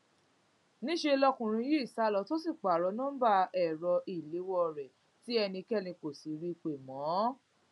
níṣẹ lọkùnrin yìí sá lọ tó sì pààrọ nọńbà ẹrọ ìléwọ rẹ tí ẹnikẹni kò rí i pé mọ